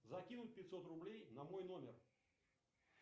закинуть пятьсот рублей на мой номер